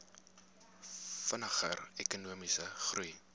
vinniger ekonomiese groei